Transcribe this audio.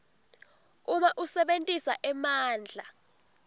uma usebentisa emandla